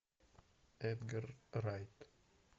эдгар райт